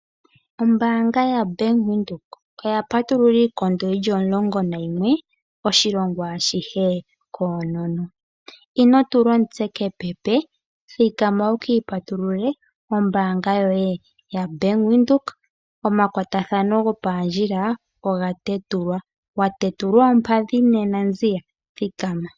Ombaanga yaBank Windhoek oya patulula iikondo yili omulongonayimwe oshilongo ashihe koonono. Ino tula omutse kepepe thikama wukiipatululile ombaanga yoye yaBank Windhoek omakwatathano gopoondjila oga tetulwa. Watetulwa oompadhi nduno nziya thikama.